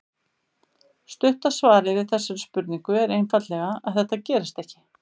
Stutta svarið við þessari spurningu er einfaldlega að þetta gerist ekki.